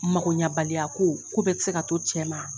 Mago ɲɛbaliko ko bɛɛ ti se ka to cɛ ma.